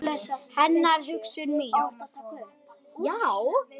Hennar hugsun mín.